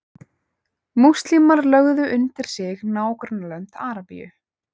múslímar lögðu undir sig nágrannalönd arabíu